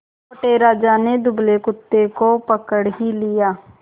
मोटे राजा ने दुबले कुत्ते को पकड़ ही लिया